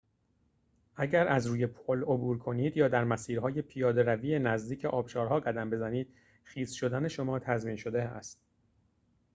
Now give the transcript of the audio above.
اگر از روی پل عبور کنید یا در مسیرهای پیاده روی نزدیک آبشارها قدم بزنید خیس شدن شما تضمین شده است